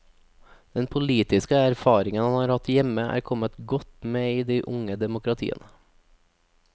Den politiske erfaringen han har hatt hjemme, er kommet godt med i de unge demokratiene.